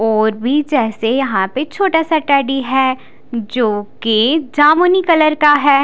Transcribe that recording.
और भी जैसे यहाँ पर छोटा सा टेडी है जोकि जमुनी कलर का है।